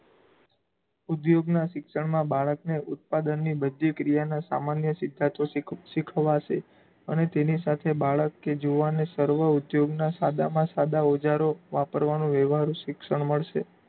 ઉધોગનાં શિક્ષણમાં બાળકને ઉત્પાદનની બધી ક્રિયાનાં સામાન્ય સિદ્ધાંતો શીખવાશે અને તેની સાથે બાળક કે જુવાનને સર્વ ઉધોગનાં સાદામાં સાદા ઓજારો વાપરવાનો વ્યવહારું શિક્ષણ મળશે.